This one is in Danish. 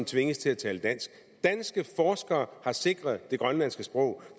tvinges til at tale dansk danske forskere har sikret det grønlandske sprog